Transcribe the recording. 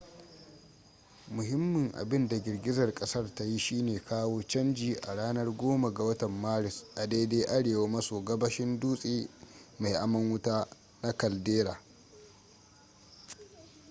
muhimmin abinda girgizar kasar ta yi shine kawo canji a ranar 10 ga watan maris a daidai arewa maso gabashin dutse mai aman wuta na caldera